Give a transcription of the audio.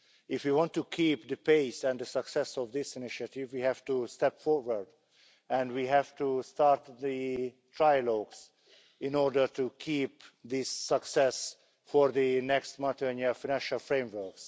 If you want to keep the pace and the success of this initiative, we have to step forward and we have to start the trilogues in order to keep this success for the next multiannual financial framework.